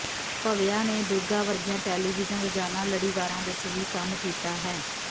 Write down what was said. ਭਵਯਾ ਨੇ ਦੁਰਗਾ ਵਰਗੀਆਂ ਟੈਲੀਵਿਜ਼ਨ ਰੋਜ਼ਾਨਾ ਲੜੀਵਾਰਾਂ ਵਿੱਚ ਵੀ ਕੰਮ ਕੀਤਾ ਹੈ